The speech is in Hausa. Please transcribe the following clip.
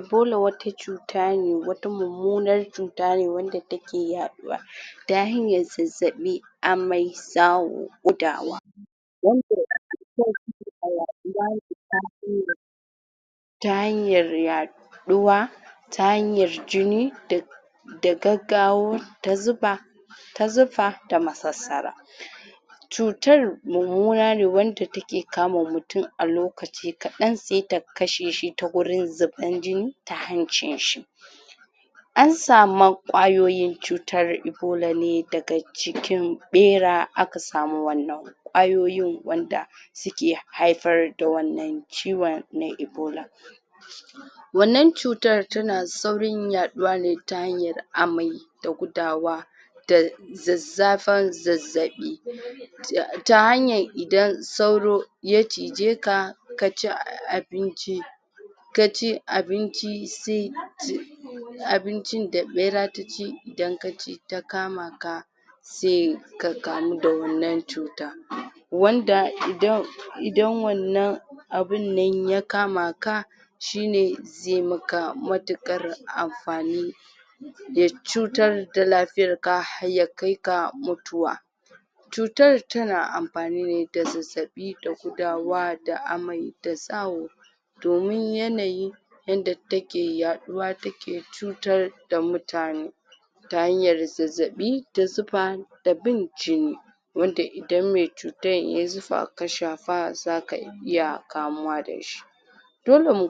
Ebola wata cuta ne wata mummunar cuta ne wanda take yaɗuwa ta hanyar zazzaɓi, amai, zawo, gudawa ta hanyar yaɗuwa ta hanyar jini da da gaggawo ta zufa ta zufa da masassara cutar mummuna ne wanda take kama mutum a lokaci kaɗan se ta kashe shi ta gurin zuban jini ta hancin shi, an sama ƙwayoyin cutan ebola ne daga cikin ɓera aka samu wannan ƙwayoyin wanda suke haifar da wannan ciwon na ebola, wannan cutar tana saurin yaɗuwa ne ta hanyar amai da gudawa da zazzafan zazzaɓi ta hanyar idan sauro ya cije ka kaci abinci kaci abinci se abincin da ɓera ta ci idan ka ci ta kama ka, se ka kamu da wannan cuta, wanda idan idan wannan abun nan ya kama ka shi ne ze maka matuƙar amfani ya cutar da lafiyar ka har ya kai ga mutuwa, cutar tana amfani ne da zazzaɓi da gudawa da amai da zawo domin yanayi yadda take yaɗuwa take cutar da mutane ta hanyar zazzaɓi ta zufa da bin jini, wanda idan me cutan yayi zufa ka shafa zaka iya kamuwa da shi, dole mu